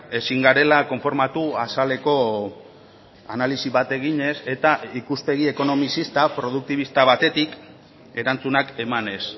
ezin garela konformatu azaleko analisi bat eginez eta ikuspegi ekonomizista produktibista batetik erantzunak emanez